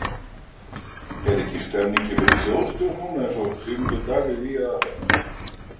Er ekki stemmingin fyrir þjóðstjórn núna eins og Sigmundur Davíð ýjaði að þarna?